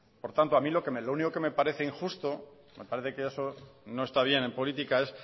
por tanto a mí lo único que me parece injusto me parece que eso no está bien en política es